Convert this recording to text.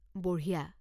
বঢ়িয়া।